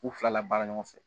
K'u fila la baara ɲɔgɔn fɛ